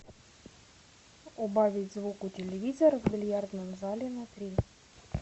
убавить звук у телевизора в бильярдном зале на три